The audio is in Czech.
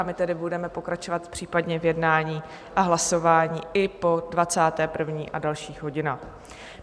A my tedy budeme pokračovat případně v jednání a hlasování i po 21. a dalších hodinách.